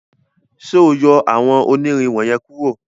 ṣe o yọ awọn onirin wọnyẹn kuro.